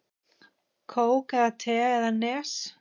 Kók eða te eða Nes?